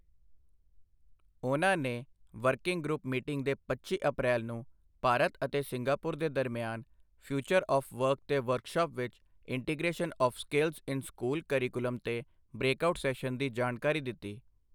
ਉਨ੍ਹਾਂ ਨੇ working group meeting ਦੇ ਪੱਚੀ ਅਪ੍ਰੈਲ ਨੂੰ ਭਾਰਤ ਅਤੇ ਸਿੰਗਾਪੁਰ ਦੇ ਦਰਮਿਆਨ ਫਿਊਚਰ ਆਵ੍ ਵਰਕ ਤੇ ਵਰਕਸ਼ਾਪ ਵਿੱਚ integration of skills in school curriculum ਤੇ ਬ੍ਰੇਕਆਊਟ ਸੈਸ਼ਨ ਦੀ ਜਾਣਕਾਰੀ ਦਿੱਤੀ।